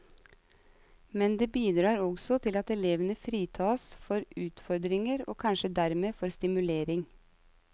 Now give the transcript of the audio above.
Men det bidrar også til at elevene fritas for utfordringer og kanskje dermed for stimulering.